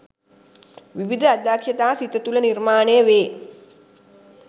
විවිධ අදක්‍ෂතා සිත තුළ නිර්මාණය වේ.